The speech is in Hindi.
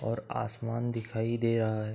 और आसमान दिखाई दे रहा है ।